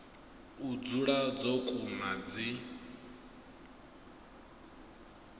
u dzula dzo kuna dzi